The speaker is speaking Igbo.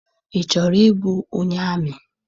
Ị chọrọ ịbụ onye amị?